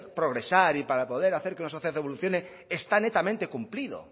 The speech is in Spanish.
progresar y para poder hacer que una sociedad evolucione está netamente cumplido